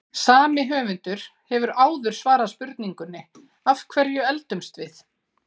Sami höfundur hefur áður svarað spurningunni Af hverju eldumst við?